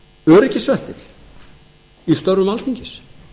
öryggisventill í störfum alþingis